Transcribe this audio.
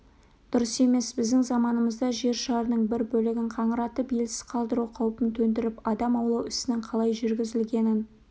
дұрыс емес біздің заманымызда жер шарының бір бөлігін қаңыратып елсіз қалдыру қаупін төндіріп адам аулау ісінің қалай жүргізілгенін